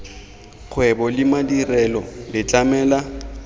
kgwebo le madirelo le tlamela